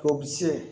Ko se